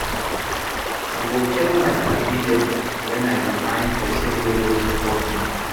I go tell my padi dem wen I dey find pesin wey go support me.